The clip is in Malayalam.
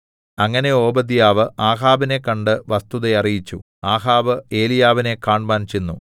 അങ്ങനെ ഓബദ്യാവ് ആഹാബിനെ കണ്ട് വസ്തുത അറിയിച്ചു ആഹാബ് ഏലീയാവിനെ കാണ്മാൻ ചെന്നു